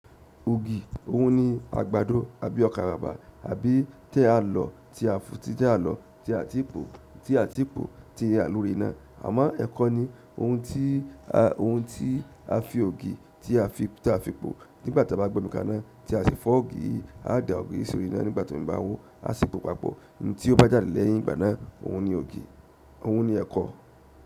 Ògì, òhun ni àgbàdo àbí ọkà bàbà àbí ti a lọ́ tí a ti pò ti a lórí iná. Àmọ́ ẹ̀kọ ni ohun tí a fi ògì tí a fi pò nígbà tí a bá gbomi kaná tí a sì fọ ògì yìí a dà ògì yìí sórí iná nígbà tí omi bá ho aa si pò papọ̀. Ohun tí ó bá jáde lẹ́yìn ìgbà náà, òhun ni ògì, òhun ni ẹ̀kọ.